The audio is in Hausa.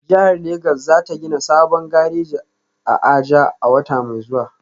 Jihar Legas za ta gina sabon gareji a Aja a wata mai zuwa